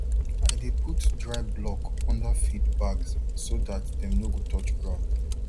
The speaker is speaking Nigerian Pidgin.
i dey put dry block under feed bags so dat dem no go touch ground